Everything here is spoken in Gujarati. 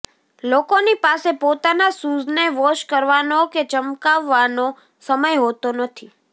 લોકોની પાસે પોતાના શૂઝને વોશ કરવાનો કે ચમકાવવાનો સમય હોતો નથી